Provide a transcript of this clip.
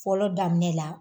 Fɔlɔ daminɛ la